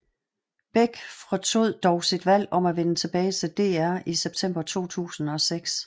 Beck fortrød dog sit valg om at vende tilbage til DR i september 2006